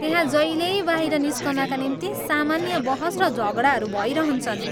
त्यहाँ जहिल्यै बाहिर निस्कनका निम्ति सामान्य बहस र झगडाहरू भइरहन्छन्।